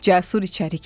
Cəsur içəri girdi.